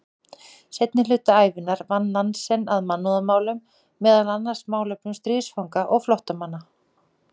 Seinni hluta ævinnar vann Nansen að mannúðarmálum, meðal annars málefnum stríðsfanga og flóttamanna.